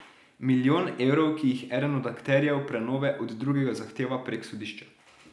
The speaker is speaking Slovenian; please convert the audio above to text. Milijon evrov, ki jih eden od akterjev prenove od drugega zahteva prek sodišča.